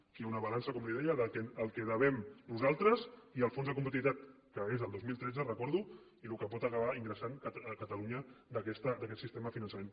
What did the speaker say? aquí hi ha una balança com li deia del que devem nosaltres i el fons de competitivitat que és el dos mil tretze ho recordo i el que pot acabar ingressant catalunya d’aquest sistema de finançament